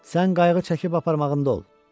Sən qayğı çəkib aparmağında ol.